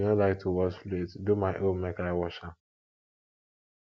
if you no like to wash plate do my own make i wash am